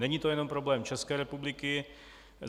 Není to jenom problém České republiky.